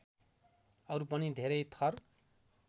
अरु पनि धेरै थर